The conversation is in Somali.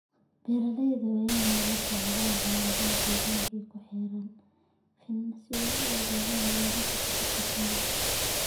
Beeralayda waa inay la socdaan xaaladaha deegaanka ee ku xeeran finan si ay u ogaadaan ilaha khatarta shinnida.